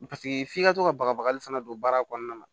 Paseke f'i ka to ka bagabagali fana don baara kɔnɔna na